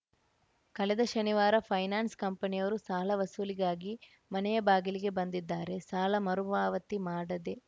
ಕಳೆದ ಶನಿವಾರ ಫೈನಾನ್ಸ್‌ ಕಂಪನಿಯವರು ಸಾಲ ವಸೂಲಿಗಾಗಿ ಮನೆಯ ಬಾಗಿಲಿಗೆ ಬಂದಿದ್ದಾರೆ ಸಾಲ ಮರು ಪಾವತಿ ಮಾಡದೆ